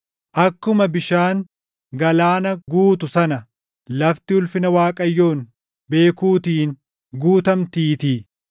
Akkuma bishaan galaana guutu sana lafti ulfina Waaqayyoon beekuutiin guutamtiitii.